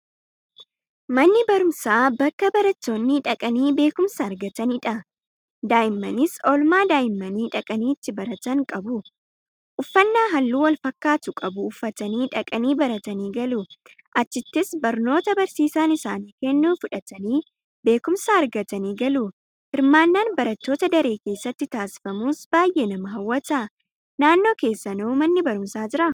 Manni barumsaa bakka barattoonni dhaqanii beekumsa argatanidha. Daa'immanis oolmaa daa'immanii dhaqanii itti baratan qabu. Uffannaa halluu walfakkaatu qabu uffatanii dhaqanii baratanii galu. Achittis barnoota barsiisaan isaaniif kennu fudhatanii; beekumsa argatanii galu. Hirmaannaan barattootaa daree keessatti taasifamus baay'ee nama hawwata. Naannoo keessanoo manni barumsaa jiraa?